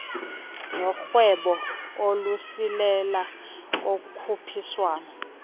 norhwebo ukusilela kokhuphiswano